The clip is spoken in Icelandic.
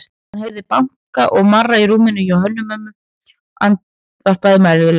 Hann heyrði braka og marra í rúminu og Hönnu-Mömmu andvarpa mæðulega.